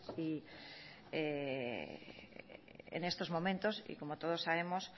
y en estos momentos y como todos sabemos